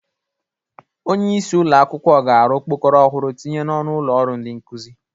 Onyeisi ụlọ akwụkwọ ga-arụ okpokoro ọhụrụ tinye n'ọnụ ụlọ ọrụ ndị nkụzị.